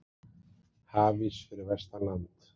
Hafís fyrir vestan land